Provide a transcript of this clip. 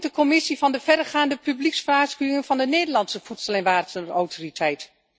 Wat vindt de Commissie van de verregaande publiekswaarschuwingen van de Nederlandse Voedsel en Warenautoriteit?